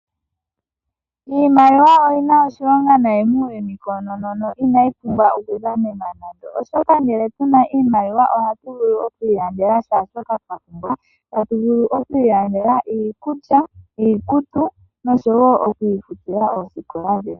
Iimaliwa oyi na oshilongo muuyuni auhe koonono na inayi pumbwa okudhanenwa, oshoka ngele tu na iimaliwa ohatu vulu oku ilandela kehe shoka twa pumbwa. Oto vulu oku ilandela iikulya, iikutu noshowo okuifutila osikola yoye.